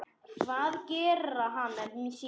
Hvað gerði hann af sér?